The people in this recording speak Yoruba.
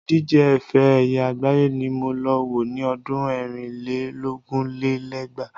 Ìdíje ifẹ ẹ̀yẹ àgbáyé ni mo lọ wo ni ọdún ẹ̀rin lé lógún lé lẹ́gbàá.